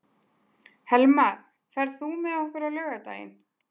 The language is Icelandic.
Helma, ferð þú með okkur á laugardaginn?